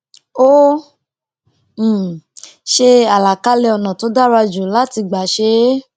ó um ṣe àlàkalẹ ònà tó dára jù láti gbà ṣe é